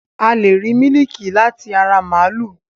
A lẹ̀ rí mílíkì láti ara màlúù